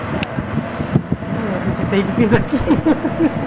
Quem? Nem eu acreditei que fiz aquilo.